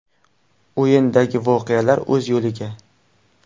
O‘yindagi voqealar o‘z yo‘liga.